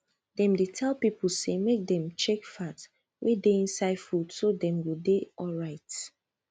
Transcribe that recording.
dem dey tell people say make dem check fat wey dey inside food so dem go dey alright